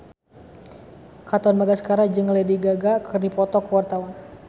Katon Bagaskara jeung Lady Gaga keur dipoto ku wartawan